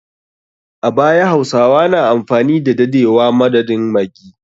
A baya, hausawa na amfani da dadewa madadin maggi.